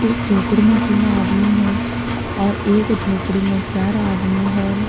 एक झोपड़ी में तीन आदमी है और एक झोपड़ी में चार आदमी है।